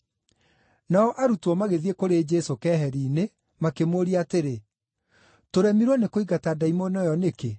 Nao arutwo magĩthiĩ kũrĩ Jesũ keheri-inĩ, makĩmũũria atĩrĩ, “Tũremirwo nĩkũingata ndaimono ĩyo nĩkĩ?”